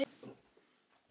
En lífið er víst svona.